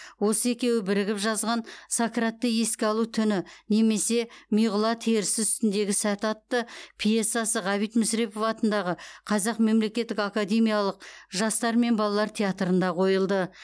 осы екеуі бірігіп жазған сократты еске алу түні немесе миғұла терісі үстіндегі сәт атты пьесасы ғабит мүсірепов атындағы қазақтың мемлекеттік академиялық жастар мен балалар театрында қойылды